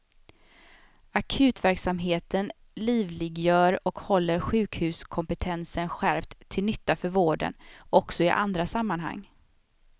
Akutverksamheten livliggör och håller sjukhuskompetensen skärpt till nytta för vården också i andra sammanhang.